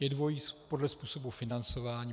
Je dvojí, podle způsobu financování.